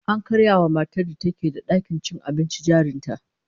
An karya wa matar da ke da dakin cin abincin jarin ta